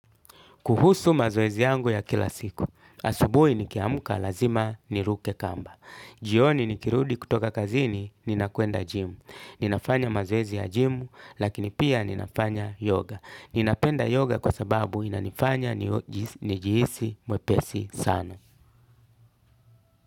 Kuhusu mazoezi yangu ya kila siku. Asubuhi nikiamka lazima niruke kamba. Jioni nikirudi kutoka kazini, ninakwenda gym. Ninafanya mazoezi ya jimu, lakini pia ninafanya yoga. Ninapenda yoga kwa sababu inanifanya nijihisi mwepesi sana.